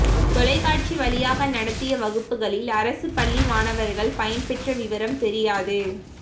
தொலைக்காட்சி வழியாக நடத்திய வகுப்புகளில் அரசுப் பள்ளி மாணவர்கள்பயன் பெற்ற விவரம் தெரியாது